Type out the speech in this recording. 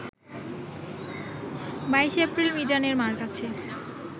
২২এপ্রিল মিজানের মার কাছে